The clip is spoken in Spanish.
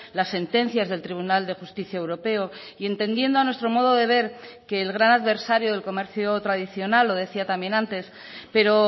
las sentencias del tribunal de justicia europeo y entendiendo a nuestro modo de ver que el gran adversario del comercio tradicional lo decía también antes pero